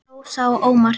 Rósa og Ómar.